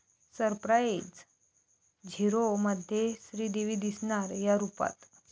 Surprise! 'झीरो'मध्ये श्रीदेवी दिसणार 'या' रूपात